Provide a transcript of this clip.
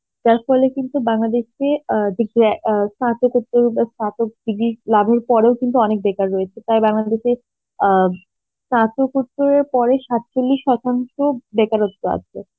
যার ফলে কিন্তু বাংলাদেশে আ যে গ্যা~ আ স্নাতকোতো বা স্নাতক শিবির লাভের পরেও কিন্তু অনেক বেকার রয়েছে তাই বাংলাদেশ আ স্নাতকোত্তের পরে সাত চল্লিশ শতাংশ বেকারত্ব আছে